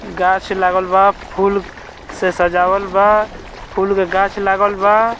गाछ लागल बा फूल से सजावल बा फूल के गाछ लागल बा।